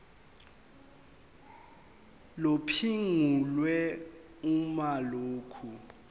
liphungulwe uma lokhu